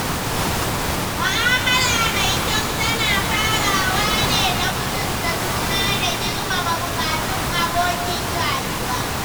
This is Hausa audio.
Mu'amala mai kyau tana farawa ne da mutunta juna da girmama buƙatun abokin rayuwa.